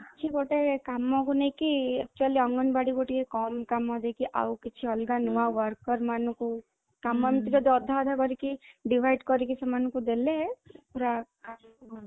କିଛି ଗୋଟେ କାମ କୁ ନେଇକି actually ଅଙ୍ଗନବାଡି ଗୋଟିଏ କମ କାମ ଦେଇକି ଆଉ କିଛି ଅଲଗା ନୂଆ worker ମାନଙ୍କୁ କାମ ଅଧା ଅଧା କରିକି divide କରିକି ସେମାନଙ୍କୁ ଦେଲେ ପୁରା